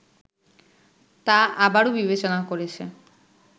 তা আবারও বিবেচনা করেছে